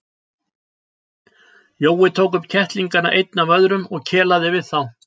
Jói tók upp kettlingana einn af öðrum og kelaði við þá.